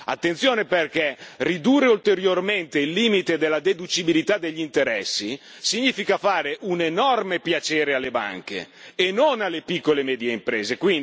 Attenzione, perché ridurre ulteriormente il limite della deducibilità degli interessi significa fare un enorme piacere alle banche e non alle piccole e medie imprese.